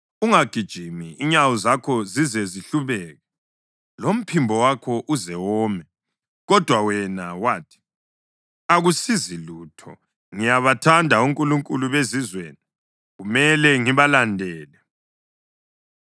Ungagijimi inyawo zakho zize zihlubuke lomphimbo wakho uze wome. Kodwa wena wathi, ‘Akusizi lutho! Ngiyabathanda onkulunkulu bezizweni, kumele ngibalandele.’